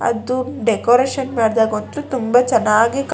ಅದು ಡೆಕೋರೇಷನ್ ಮಾಡಿದಾಗ ಗೊತ್ತು ತುಂಬಾ ಚೆನ್ನಾಗಿ --